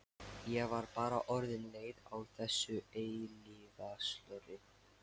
Ég var bara orðin leið á þessu eilífa slori.